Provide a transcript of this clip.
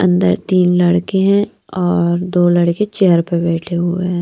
अंदर तीन लड़के हैं और दो लड़के चेयर पर बैठे हुए हैं।